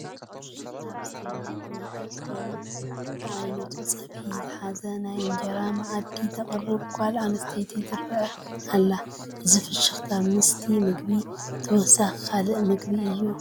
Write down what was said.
ፍሽኽታ ብዝተመልኦ ብሩህ ገፅ ኮይና በብዓይነቱ ፀብሒ ዝሓዘ ናይ እንጀራ መኣዲ ተቕርብ ጓል ኣነስተይቲ ትርአ ኣላ፡፡ እዚ ፍሽኽታ ምስቲ ምግቢ ተወሳኺ ካልእ ምግቢ እዩ፡፡